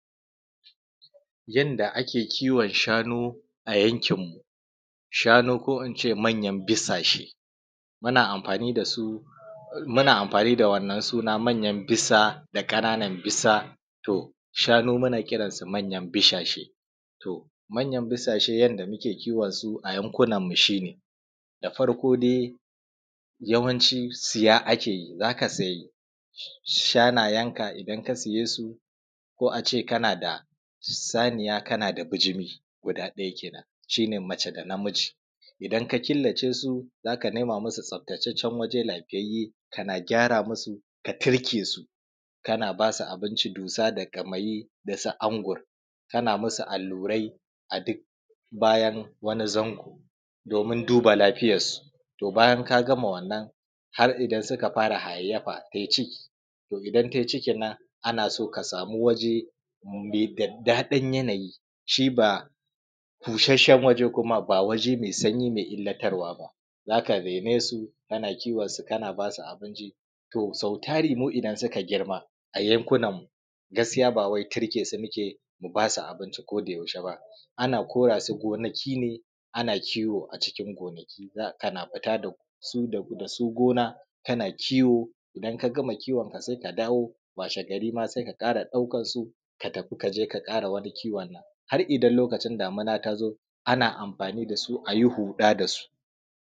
Yanda ake kiwon shanu a yankinmu, shanu ko in ce manjan bisashe. Muna amfani da su muna amfani da wannan suna manyan bisa da ƙananan bisa. To shanu muna kiransu manyan bisashe, to manyan bisashe yadda muke kiwon su a yankunanmu shi ne da farko dai yawanci siya ake yi, za ka se shanayenka, idan ka siye su, ko a ce kana da shaniya kana da bijimi, guda ɗaya kenan shi ne ma:ʧe da namiji.. Idan ka killa ce su za ka nema masu tsaftacen waye lafiyayye, kana gyara masu ka turke su. Kana ba su abici dussa da ƙamayi da su angur, kana masu allurai a duk bayan wani zango. Domin duba lafiyar su,, to bajan ka gamawannan, har idan suka fara hayyayafa, tai ciki to idan tai cikin nan ana so ka samu waje me daddaɗan yanaji, shi ba bushasshen ba, waje me sanyi ba me illatarwa ba. Za ka raine su, kana kiwon su, kana ba su abinci. to so tari idan mu suka girma a yankunanmu, gaskiya mu ba wai turke su muke mu ba su abinci kodayaushe ba. Ana kora su gonaki ne ana kiwo a cikin gonakin Za a ana fita da su gona ana kiwo idan ka gama kiwon ka sai ka dawo. Washe gari ma sai ka dawo ka sake ɗaukar su, ka tafi ka ƙara wani kiwon. Har idan damina ta zo ana amfani da su a yi huɗa da su.